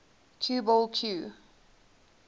cue ball cue